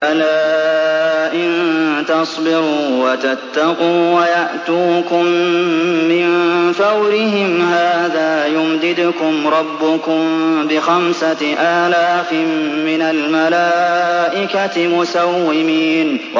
بَلَىٰ ۚ إِن تَصْبِرُوا وَتَتَّقُوا وَيَأْتُوكُم مِّن فَوْرِهِمْ هَٰذَا يُمْدِدْكُمْ رَبُّكُم بِخَمْسَةِ آلَافٍ مِّنَ الْمَلَائِكَةِ مُسَوِّمِينَ